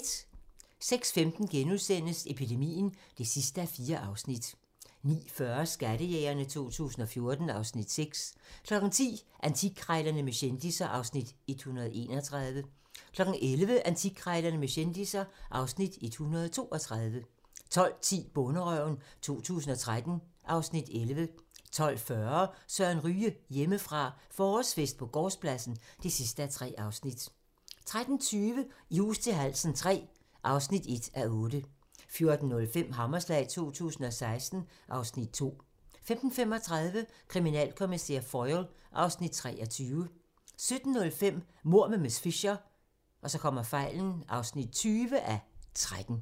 06:15: Epidemien (4:4)* 09:40: Skattejægerne 2014 (Afs. 6) 10:00: Antikkrejlerne med kendisser (Afs. 131) 11:00: Antikkrejlerne med kendisser (Afs. 132) 12:10: Bonderøven 2013 (Afs. 11) 12:40: Søren Ryge: Hjemmefra – forårsfest på gårdspladsen (3:3) 13:20: I hus til halsen III (1:8) 14:05: Hammerslag 2016 (Afs. 2) 15:35: Kriminalkommissær Foyle (Afs. 23) 17:05: Mord med miss Fisher (20:13)